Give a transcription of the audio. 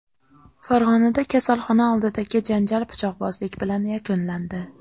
Farg‘onada kasalxona oldidagi janjal pichoqbozlik bilan yakunlandi.